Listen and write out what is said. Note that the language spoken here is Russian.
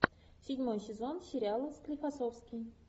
седьмой сезон сериала склифосовский